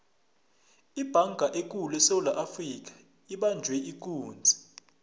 ibhanga ekulu esewula afrika ibanjwe ikunzi